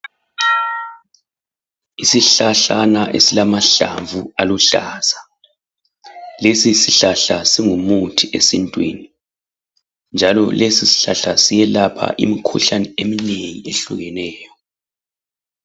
Isihlahlana esilamahlamvu aluhlaza. Lesi sihlahla singumuthi esintwini. Njalo lesi sihlahla siyelapha imikhuhlane eminengi eyehlukeneyo.